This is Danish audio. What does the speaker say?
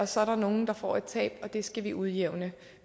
så er der nogle der får et tab og det skal vi udjævne